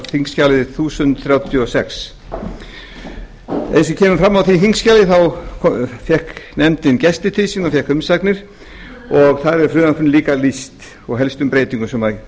þingskjali þúsund þrjátíu og sex eins og kemur fram á því þingskjali þá fékk nefndin gesti til sín og fékk umsagnir og þar er frumvarpinu líka lýst og helstu breytingum sem